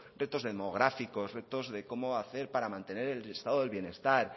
retos demográficos retos de cómo hacer para mantener el estado del bienestar